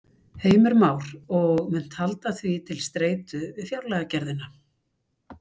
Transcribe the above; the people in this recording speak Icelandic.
Heimir Már: Og munt halda því til streitu við fjárlagagerðina?